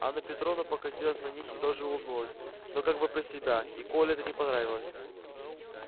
анна петровна покосилась на них и тоже улыбнулась но как бы про себя и коле это не понравилось